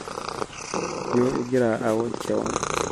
ijo igira awoj keion